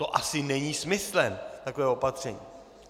To asi není smyslem takového opatření.